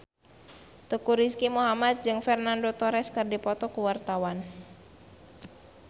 Teuku Rizky Muhammad jeung Fernando Torres keur dipoto ku wartawan